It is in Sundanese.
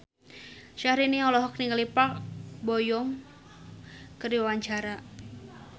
Syaharani olohok ningali Park Bo Yung keur diwawancara